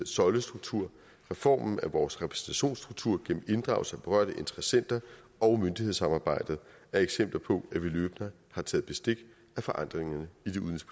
søjlestruktur reformen af vores repræsentationsstruktur gennem inddragelse af berørte interessenter og myndighedssamarbejde er eksempler på at vi løbende har taget bestik af forandringerne